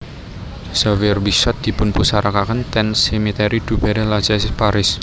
Xavier Bichat dipunpusarakaken ten Cimetière du Père Lachaise Paris